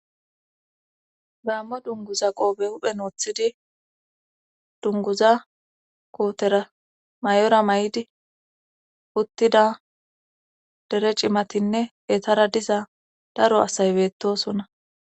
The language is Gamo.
Gaammo dunguza qoobe huphen woththidi dunguza kootera may7ora may7di uttida dere cimatinne etara diza daro asay beettosona